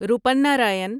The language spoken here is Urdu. روپنارائن